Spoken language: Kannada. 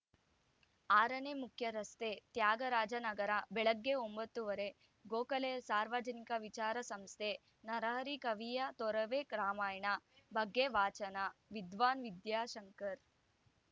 ಆರನೇ ಮುಖ್ಯರಸ್ತೆ ತ್ಯಾಗರಾಜನಗರ ಬೆಳಗ್ಗೆ ಒಂಬತ್ತು ಮೂವತ್ತು ಗೋಖಲೆ ಸಾರ್ವಜನಿಕ ವಿಚಾರ ಸಂಸ್ಥೆ ನರಹರಿ ಕವಿಯ ತೊರವೆ ರಾಮಾಯಣ ಬಗ್ಗೆ ವಾಚನ ವಿದ್ವಾನ್‌ ವಿದ್ಯಾಶಂಕರ್‌